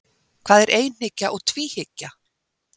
Hvað er einhyggja og tvíhyggja?